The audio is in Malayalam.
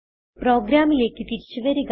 പ്രോഗ്രാമിലേക്ക് തിരിച്ചു വരിക